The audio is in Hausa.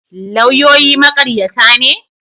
Lauyoyi maƙaryata ne?